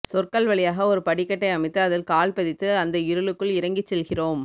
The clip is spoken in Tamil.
சொற்கள் வழியாக ஒரு படிக்கட்டை அமைத்து அதில் கால்பதித்து அந்த இருளுக்குள் இறங்கிச் செல்கிறோம்